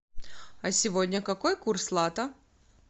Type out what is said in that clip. а сегодня какой курс лата